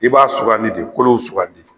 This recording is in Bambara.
I b'a sugandi de kolow sugandi.